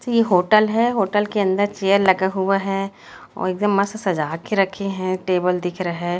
ये होटल है होटल के अंदर चेयर लगा हुआ है और एकदम मस्त सजा के रखे हैं टेबल दिख रहा है।